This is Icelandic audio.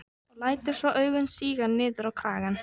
Og lætur svo augun síga niður á kragann.